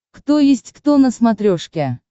кто есть кто на смотрешке